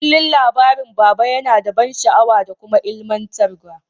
Kullum labarin baba yana da ban sha'awa da kuma ilmantar wa.